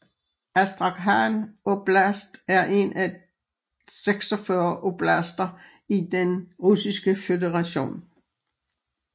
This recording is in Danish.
Astrakhan oblast er en af 46 oblaster i Den Russiske Føderation